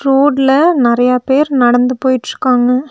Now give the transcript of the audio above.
ரோட்ல நெறைய பேர் நடந்து போயிட்ருக்காங்க.